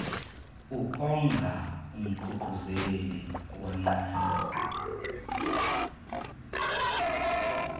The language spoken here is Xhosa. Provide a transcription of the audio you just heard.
ukonga umququzeleli wenqwelo